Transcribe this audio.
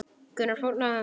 Gunnar fórnaði höndum.